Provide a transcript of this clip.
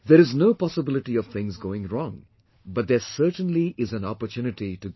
There is no possibility of things going wrong, but there certainly is an opportunity to grow